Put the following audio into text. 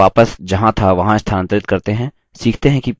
पेड़ के तने को वापस जहाँ था वहाँ स्थानांतरित करते हैं